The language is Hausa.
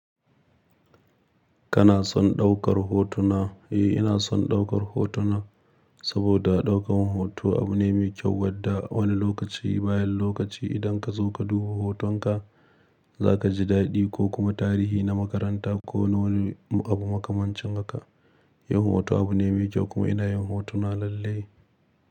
Kana son ɗaukar hotuna? Eh, ina son ɗaukar hotuna saboda ɗaukar hoto abu ne mai kyau wadda wani lokaci bayan lokaci idan ka zo ka duba hotonka, za ka ji daɗi ko kuma tarihi na makaranta ko na wani abu makamancin haka. Yin hoto abu ne mai kyau kuma ina yin hotuna lalle.